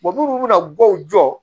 munnu bɛna dɔw jɔ